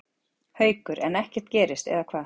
Haukur: En ekkert gerist eða hvað?